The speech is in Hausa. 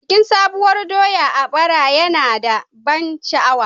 Bikin Sabuwar doya a bara yana da ban sha'awa.